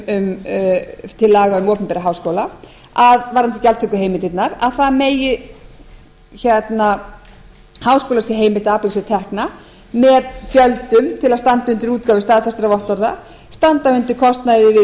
frumvarpinu til laga um opinbera háskóla varðandi gjaldtökuheimildirnar að háskóla sé heimilt að afla sér tekna með gjöldum til að standa undir útgáfustað þessara vottorða standa undir kostnaði við